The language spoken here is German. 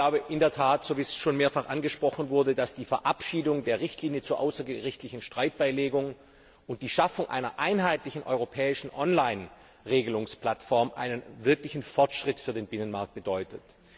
Ich glaube, wie auch schon mehrfach angesprochen wurde, dass die Verabschiedung der Richtlinie zur außergerichtlichen Streitbeilegung und die Schaffung einer einheitlichen europäischen Online Regelungsplattform in der Tat einen wirklichen Fortschritt für den Binnenmarkt bedeutet.